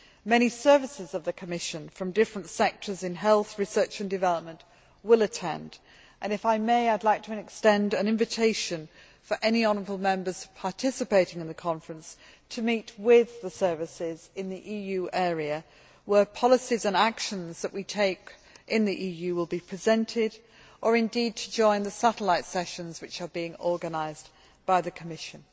Many services of the Commission from different sectors in health, research and development will attend and, if I may, I would like to extend an invitation to any honourable Members participating in the conference to meet with the services in the EU area where policies and actions that we take in the EU will be presented, or indeed to join the satellite sessions which are being organised by the Commission.